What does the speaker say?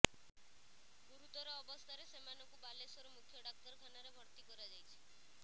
ଗୁରୁତର ଅବସ୍ଥାରେ ସେମାନଙ୍କୁ ବାଲେଶ୍ୱର ମୁଖ୍ୟ ଡାକ୍ତରଖାନାରେ ଭର୍ତ୍ତି କରାଯାଇଛି